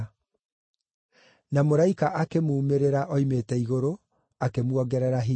Na mũraika akĩmuumĩrĩra oimĩte igũrũ, akĩmuongerera hinya.